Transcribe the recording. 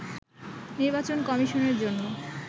নির্বাচন কমিশনের জন্য